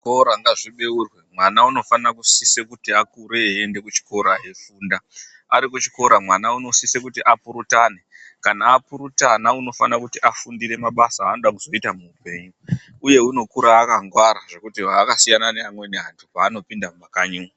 Zvikora ngazvibeurwe. Mwana unofana kusise kuti akure eienda kuchikora eifunda, Ari kuchikora mwana unosise kuti apurutane kana apurutana unofana kuti afundire mabasa achada kuzoita muupenyu uye unokura akangwara zvekuti inosiyana neamweni anhu paanopinda mumakanyi umu.